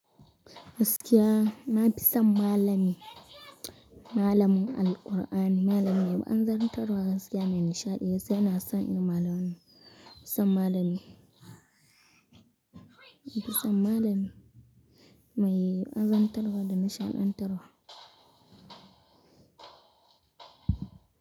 Gaskiya na fi son malami, malamin Alqur'ani, malamin wa azantar wa gaskiya mai nishaɗi gaskiya ina san malamin. Nafi son malami, nafi son malami mai waazantar wa da nishaɗantarwa.